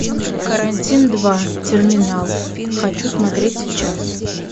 карантин два терминал хочу смотреть сейчас